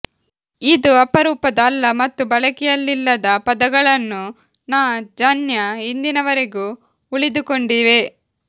ಇದು ಅಪರೂಪದ ಅಲ್ಲ ಮತ್ತು ಬಳಕೆಯಲ್ಲಿಲ್ಲದ ಪದಗಳನ್ನು ನ ಜನ್ಯ ಇಂದಿನವರೆಗೂ ಉಳಿದುಕೊಂಡಿವೆ